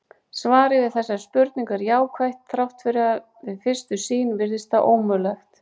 Svarið við þessari spurningu er jákvætt þrátt fyrir að við fyrstu sýn virðist það ómögulegt.